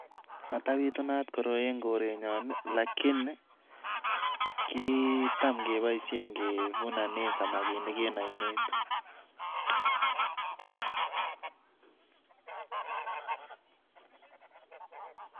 Matabitunat koroi eng korenyon alakini kitam kepoishen kevunane samakinik eng oinet.